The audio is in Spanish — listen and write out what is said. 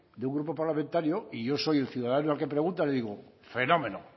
de un grupo parlamentario y yo soy el ciudadano al que pregunta le digo fenómeno